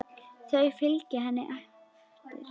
Þau fylgja henni eftir.